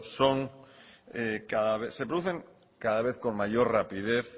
se producen cada vez con mayor rapidez